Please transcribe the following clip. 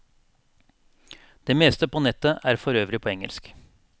Det meste på nettet er forøvrig på engelsk.